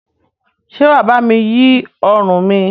Ṣé wà bá mi yí ọrùn mi?